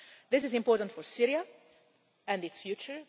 This is important for Syria and its future.